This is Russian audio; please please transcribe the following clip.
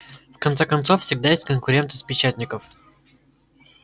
в конце концов всегда есть конкуренты с печатников